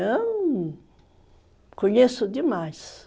conheço demais.